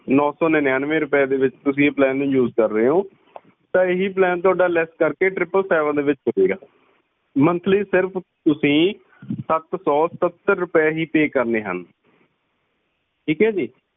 ਨੋ ਸੋ ਨਿੰਨਆਨਵੇ ਰੁਪਏ ਦੇ ਵਿੱਚ ਤੁਸੀਂ ਇਸ plan ਨੂੰ use ਕਰ ਰਹੇ ਹੋ ਤਾਂ ਇਹੀ ਪਲਾਨ ਥੋੜਾ ਲੈੱਸ ਕਰਕੇ tripple seven ਦੇ ਵਿਚ ਹੋ ਜੇਗਾ । monthly ਸਿਰਫ ਤੁਸੀਂ ਸੱਤ ਸੌ ਸਤਤਰ ਰੁਪਏ ਹੀ pay ਕਰਨੇ ਹਨ। ਠੀਕ ਹੈ ਜੀ?